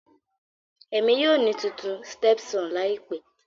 Emi yoo ni titun stepson laipe.